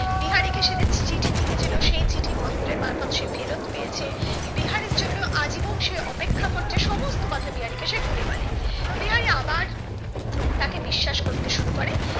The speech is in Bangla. বিহারি কে সে যে চিঠি লিখেছিলো সেই চিঠি মহেন্দ্রের মারফত সে ফেরত পেয়েছে বিহারীর জন্য আজীবন সে অপেক্ষা করছে সমস্ত কথা বিহারীকে সে খুলে বলে বিহারি আবার তাকে বিশ্বাস করতে শুরু করে